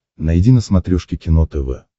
найди на смотрешке кино тв